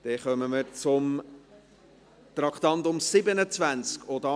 Wir kommen zum Traktandum 27;